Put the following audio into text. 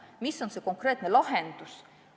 Mis on see konkreetne lahendus?